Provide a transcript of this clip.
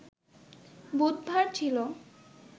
বুধবার ছিল